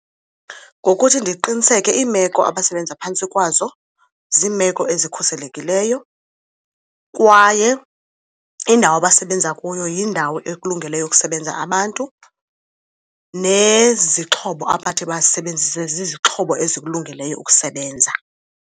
Ngokuthi ndiqiniseke iimeko abasebenza phantsi kwazo ziimeko ezikhuselekileyo kwaye indawo abasebenza kuyo yindawo ekulungeleyo ukusebenza abantu nezixhobo abathi bazisebenzise zizixhobo ezikulungeleyo ukusebenza.